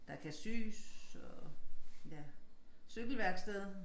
Der kan sys og ja cykelværksted